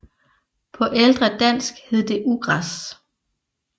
På ældre dansk hed det ugræs